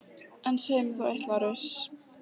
En segið mér þá eitt, Lárus.